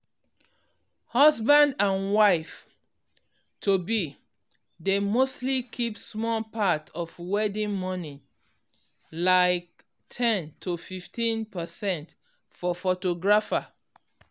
um husband and wife to-be dey mostly keep small part of wedding money like ten to fifteen percent for photographer um.